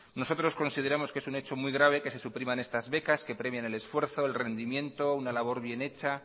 nosotros consideramos que es un hecho muy grave que se supriman estas becas que premian el esfuerzo el rendimiento una labor bien hecha